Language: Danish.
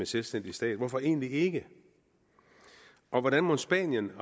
selvstændig stat hvorfor egentlig ikke og hvordan mon spanien